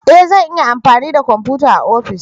E! zan iya amfani da kwamfuta a ofis.